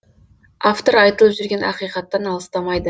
автор айтылып жүрген ақиқаттан алыстамайды